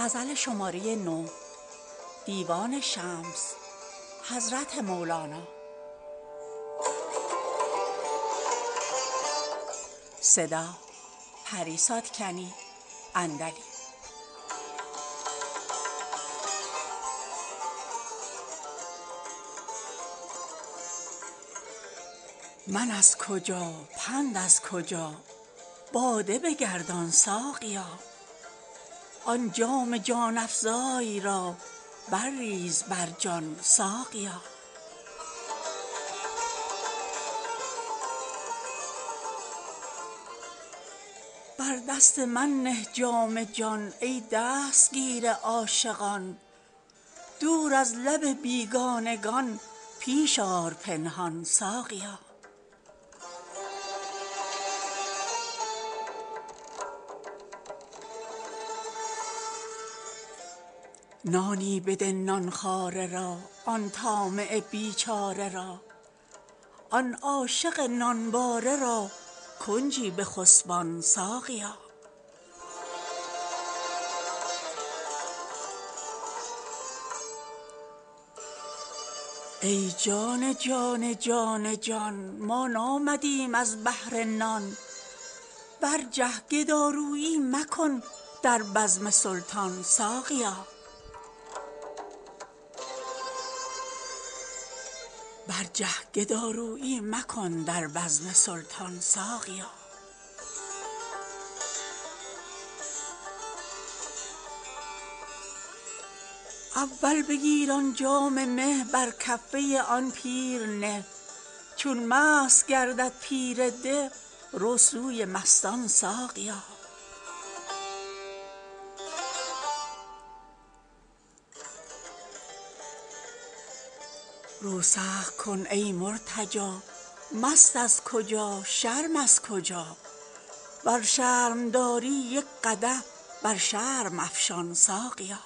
من از کجا پند از کجا باده بگردان ساقیا آن جام جان افزای را برریز بر جان ساقیا بر دست من نه جام جان ای دستگیر عاشقان دور از لب بیگانگان پیش آر پنهان ساقیا نانی بده نان خواره را آن طامع بیچاره را آن عاشق نانباره را کنجی بخسبان ساقیا ای جان جان جان جان ما نامدیم از بهر نان برجه گدارویی مکن در بزم سلطان ساقیا اول بگیر آن جام مه بر کفه آن پیر نه چون مست گردد پیر ده رو سوی مستان ساقیا رو سخت کن ای مرتجا مست از کجا شرم از کجا ور شرم داری یک قدح بر شرم افشان ساقیا